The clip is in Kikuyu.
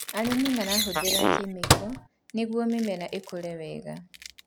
Arĩmi mahũthĩraga kemiko nĩguo mĩmera ĩkũre wega